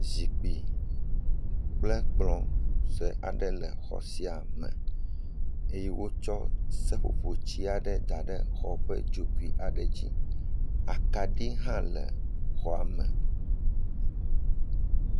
Zikpui kple kplɔ sue aɖe le xɔ sia me eye wotsɔ seƒoƒoti aɖe da ɖe xɔ ƒe dzogoe aɖe dzi, akaɖi hã le xɔa me.